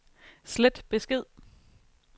slet besked